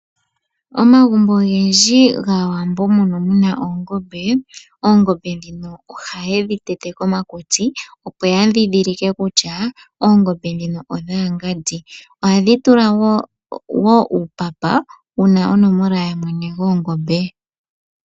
Omagumbo ogendji gAawambo mbono muna oongombe, oongombe dhino ohaye dhi tete komakutsi opo ya dhidhilike kutya oongombe dhino odha ngandi, ohaye dhi tula wo uupapa wuna onomola yamwene goongombe.